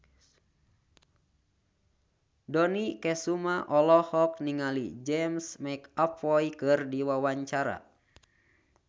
Dony Kesuma olohok ningali James McAvoy keur diwawancara